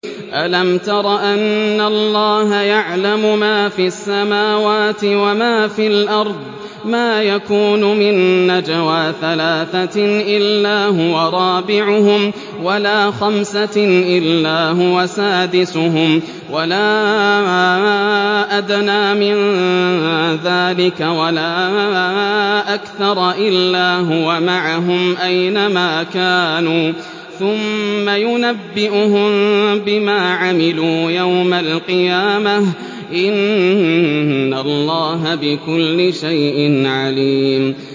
أَلَمْ تَرَ أَنَّ اللَّهَ يَعْلَمُ مَا فِي السَّمَاوَاتِ وَمَا فِي الْأَرْضِ ۖ مَا يَكُونُ مِن نَّجْوَىٰ ثَلَاثَةٍ إِلَّا هُوَ رَابِعُهُمْ وَلَا خَمْسَةٍ إِلَّا هُوَ سَادِسُهُمْ وَلَا أَدْنَىٰ مِن ذَٰلِكَ وَلَا أَكْثَرَ إِلَّا هُوَ مَعَهُمْ أَيْنَ مَا كَانُوا ۖ ثُمَّ يُنَبِّئُهُم بِمَا عَمِلُوا يَوْمَ الْقِيَامَةِ ۚ إِنَّ اللَّهَ بِكُلِّ شَيْءٍ عَلِيمٌ